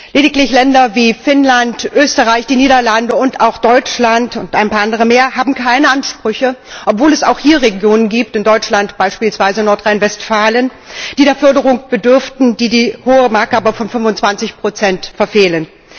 Lediglich Länder wie Finnland, Österreich, die Niederlande und auch Deutschland und ein paar andere mehr haben keine Ansprüche, obwohl es auch hier Regionen gibt in Deutschland beispielsweise Nordrhein Westfalen die der Förderung bedürften, die die hohe Marke von 25 aber verfehlen.